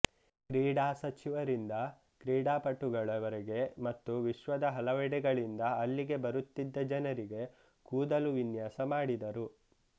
ಕ್ರೀಡಾ ಸಚಿವರಿಂದ ಕ್ರೀಡಾಪಟುಗಳವರೆಗೆ ಮತ್ತು ವಿಶ್ವದ ಹಲವೆಡೆಗಳಿಂದ ಅಲ್ಲಿಗೆ ಬರುತ್ತಿದ್ದ ಜನರಿಗೆ ಕೂದಲು ವಿನ್ಯಾಸ ಮಾಡಿದರು